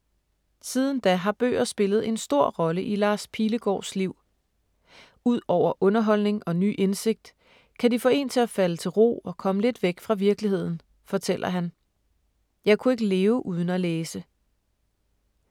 Siden da har bøger spillet en stor rolle i Lars Pilegaards liv. Ud over underholdning og ny indsigt, kan de få én til at falde til ro og komme lidt væk fra virkeligheden, fortæller han. Jeg kunne ikke leve uden at læse.